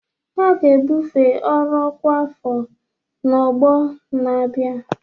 A ga-ebufe ọrụ ọkwa afọ n'ọgbọ na-abịa